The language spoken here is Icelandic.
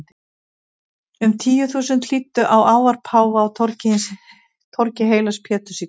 Um tíu þúsund hlýddu á ávarp páfa á torgi heilags Péturs í kvöld.